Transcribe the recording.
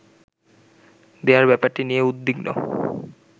দেয়ার ব্যাপারটি নিয়ে উদ্বিগ্ন